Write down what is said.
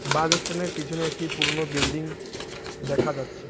বাস stand -এর পিছনে একটি পুরোনো বিল্ডিং দেখা যাচ্ছে।